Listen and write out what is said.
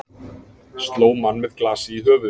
Sló mann með glasi í höfuðið